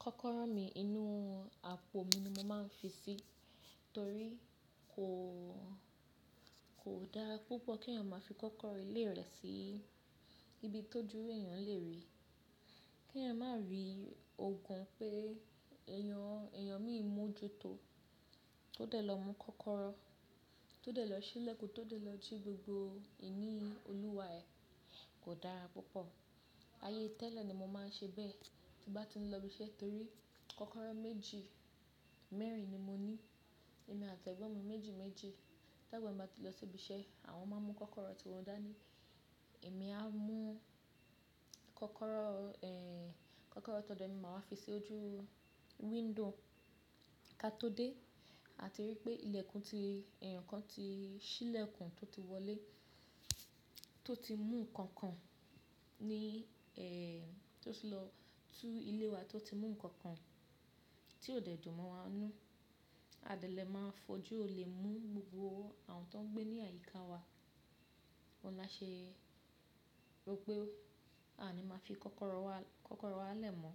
Kọ́kọ́rọ́ mi inú àpò mi ni mo máa ń fi sí, torí kò, kò dára púpọ̀ kí èèyàn máa fi kọ́kọ́rọ́ ilé rẹ̀ sí ibi tóju èèyàn lè rí. Kí èèyàn má rí orukan pé èèyàn, èèyàn míì mú ju tó. Tó dẹ̀ lọ mú kọ́kọ́rọ́, tó dẹ̀ lọ ṣílẹ̀kùn, tó dẹ̀ lọ jí gbogbo ìní olúwa ẹ̀ kò dára púpọ̀. Ayé tẹ́lẹ̀ ni mo máa ń ṣe bẹ́ẹ̀ tí bá ti ń lọ ibi iṣẹ́ torí kọ́kọ́rọ́ méjì mẹ́rin ni mo ní. Èmi àti ẹ̀gbọ́n mi méjì méjì. Ta gba bá ti lọ sí ibi iṣẹ́, àwọn máa mú kọ́kọ́rọ́ tí wọ́n dá ní, èmi á mú kọ́kọ́rọ́, eh, kọ́kọ́rọ́ tó do mi máa fi sí ojú window ká tó dé àti rí pé ìlẹ̀kùn ti, ẹ̀yọ̀kan ti ṣílẹ̀kùn tó ti wọlé, tó ti mú nǹkan kan ní, eh, tó ti lọ tú ilé wa, tó ti mú nǹkan kan tí ó dẹ̀ dùn mọ́ wa n nú. A de lẹ̀ máa fojú ò lè mú gbogbo àwọn tó ń gbé ní àyí ká wa. Oun la ṣe rò pé à ní máa fi kọ́kọ́rọ́ wa, kọ́kọ́rọ́ wa lẹ̀ mọ́.